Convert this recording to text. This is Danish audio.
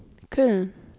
Køln